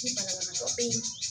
Ni banabagatɔ tɛ yen